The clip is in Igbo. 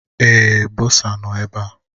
Èé, bọsa nọ ebe a.